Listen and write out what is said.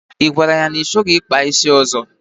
Ị gwara ya na ị chọghịzị ịkpa isi ọzọ?